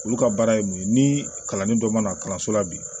Olu ka baara ye mun ye ni kalanden dɔ ma kalanso la bi